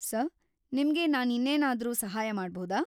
Sir, ನಿಮ್ಗೆ ನಾನ್‌ ಇನ್ನೇನಾದ್ರೂ ಸಹಾಯ ಮಾಡಬೌದಾ?